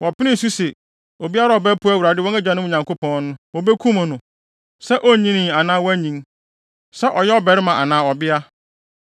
Wɔpenee so se, obiara a ɔbɛpo Awurade, wɔn agyanom Nyankopɔn no, wobekum no, sɛ onnyinii anaa wanyin, sɛ ɔyɛ ɔbarima anaa ɔbea.